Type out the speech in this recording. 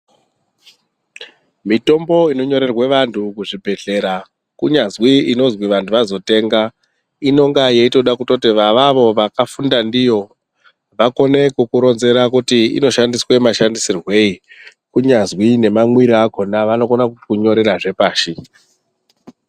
Mitombo inonyorerwa vanthu kuzvibhehlera kunyazwi inozwi vantu vazotenga inonga yeitoda kutoti avavo vakafunda ndiyo vakone kukuronzera kuti inoshandiswa mashandisirweyi kunyazwi nemamwire akona vanokona kukunyorerazve pashi.